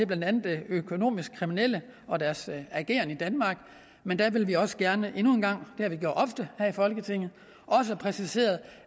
blandt andet økonomisk kriminelle og deres ageren i danmark men der vil vi også gerne endnu en gang har vi gjort ofte her i folketinget have præciseret